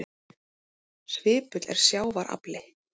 Svipull er sjávar afli.